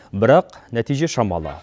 бірақ нәтиже шамалы